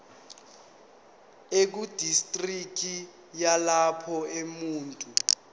ekudistriki yalapho umuntu